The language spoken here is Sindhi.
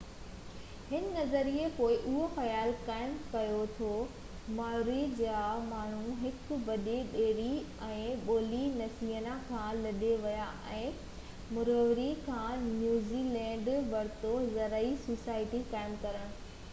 هن نظريي پوءِ اهو خيال قائم ڪيو ته مائوري جا ماڻهو هڪ وڏي ٻيڙي ۾ پولي نيسيا کان لڏي ويا ۽ موريوري کان نيوزي لينڊ ورتو زرعي سوسائٽي قائم ڪرڻ